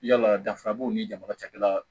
Yala danfara b'o ni jamana cakɛda